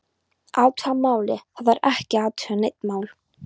Athuga málið, það þarf ekki að athuga nein mál